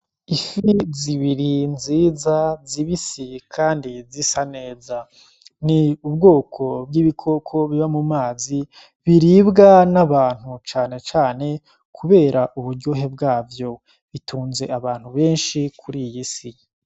Ifi zibiri nziza zibisi, kandi zisa neza ni ubwoko bw'ibikoko biba mu mazi biribwa n'abantu canecane, kubera uburyohe bwavyo bitunze abantu benshi kuri iyi si.